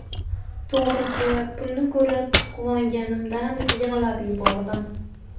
To‘g‘risi, pulni ko‘rib quvonganimdan yig‘lab yubordim.